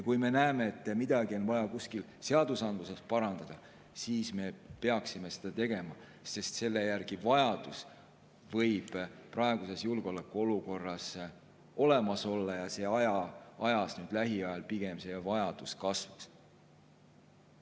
Kui me näeme, et midagi on vaja kuskil seadustes parandada, siis me peaksime seda tegema, sest vajadus selle järele võib praeguses julgeolekuolukorras olemas olla ja see vajadus lähiajal pigem kasvab.